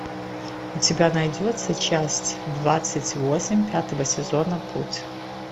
у тебя найдется часть двадцать восемь пятого сезона путь